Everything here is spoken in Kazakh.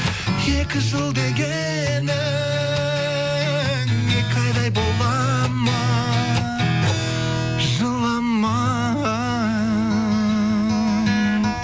екі жыл дегенің екі айдай бола ма жылама